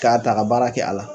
K'a ta ka baara kɛ a la.